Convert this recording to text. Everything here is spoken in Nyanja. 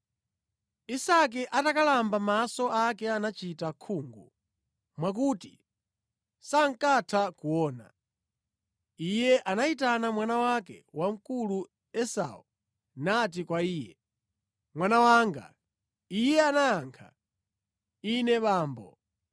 Isake atakalamba maso ake anachita khungu mwakuti sankatha kuona. Iye anayitana mwana wake wamkulu Esau nati kwa iye, “Mwana wanga.” Iye anayankha, “Ine abambo.”